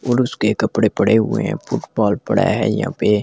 और उसके कपड़े पड़े हुए हैं फुटबॉल पड़ा है यहां पे ।